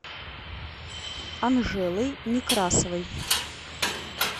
анжелой некрасовой